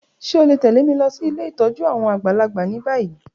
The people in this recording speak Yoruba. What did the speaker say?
Ṣe o le tẹ̀lé mi losí ilé ìtójú àwon àgbàlagbà ni bayi?